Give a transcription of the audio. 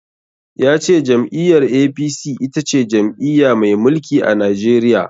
Ya ce jam'iyyar A.P.C itace jam'iya mai mulki a Najeriya.